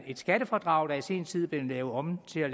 et skattefradrag der i sin tid er blevet lavet om til